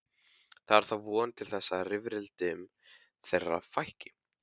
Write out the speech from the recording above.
Það er þá von til þess að rifrildum þeirra fækki.